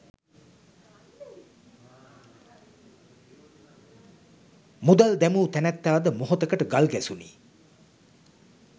මුදල් දැමූ නැනැත්තා ද මොහොතකට ගල් ගැසුනි.